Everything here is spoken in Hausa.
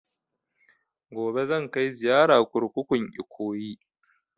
Gobe zan kai ziyara kurkukun Ikoyi